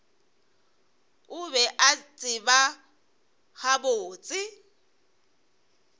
o be a tseba gabotse